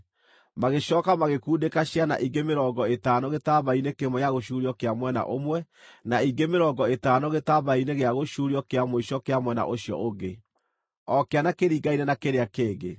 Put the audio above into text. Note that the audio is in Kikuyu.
Magĩcooka magĩkundĩka ciana ingĩ mĩrongo ĩtano gĩtambaya-inĩ kĩmwe gĩa gũcuurio kĩa mwena ũmwe, na ingĩ mĩrongo ĩtano gĩtambaya-inĩ gĩa gũcuurio kĩa mũico kĩa mwena ũcio ũngĩ, o kĩana kĩringaine na kĩrĩa kĩngĩ.